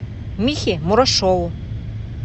михе мурашову